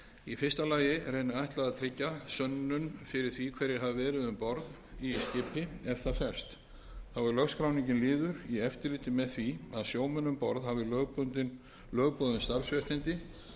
í fyrsta lagi er henni ætlað að tryggja sönnun fyrir því hverjir hafi verið um borð í skipi ef það ferst þá er lögskráningin liður í eftirliti með því að sjómenn um borð hafi lögboðin starfsréttindi